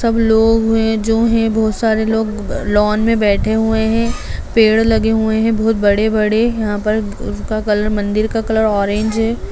सब लोग है जो है बहुत सारे लोग लॉन में बैठे हुए है पेड़ लगे हुए है बहुत बड़े-बड़े यहाँ पर उसका कलर मंदिर का कलर ऑरेंज है।